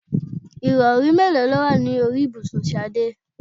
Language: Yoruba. Ìrọ̀rí mélòó ló wà ní orí ibùsùn Ṣadé?